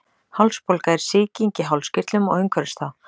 hálsbólga er sýking í hálskirtlum og umhverfis þá